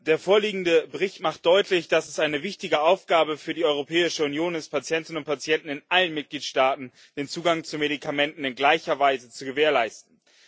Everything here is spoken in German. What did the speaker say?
Der vorliegende Bericht macht deutlich, dass es eine wichtige Aufgabe für die Europäische Union ist, Patientinnen und Patienten in allen Mitgliedstaaten den Zugang zu Medikamenten in gleicher Weise zu gewährleisten.